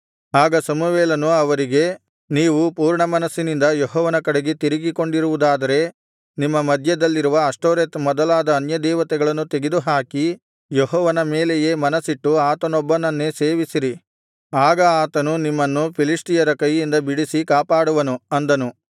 ಆಗ ಸಮುವೇಲನು ಅವರಿಗೆ ನೀವು ಪೂರ್ಣಮನಸ್ಸಿನಿಂದ ಯೆಹೋವನ ಕಡೆಗೆ ತಿರುಗಿಕೊಂಡಿರುವುದಾದರೆ ನಿಮ್ಮ ಮಧ್ಯದಲ್ಲಿರುವ ಅಷ್ಟೋರೆತ್ ಮೊದಲಾದ ಅನ್ಯದೇವತೆಗಳನ್ನು ತೆಗೆದುಹಾಕಿ ಯೆಹೋವನ ಮೇಲೆಯೇ ಮನಸ್ಸಿಟ್ಟು ಆತನೊಬ್ಬನನ್ನೇ ಸೇವಿಸಿರಿ ಆಗ ಆತನು ನಿಮ್ಮನ್ನು ಫಿಲಿಷ್ಟಿಯರ ಕೈಯಿಂದ ಬಿಡಿಸಿ ಕಾಪಾಡುವನು ಅಂದನು